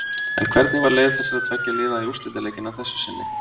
En hvernig var leið þessara tveggja liða í úrslitaleikinn að þessu sinni?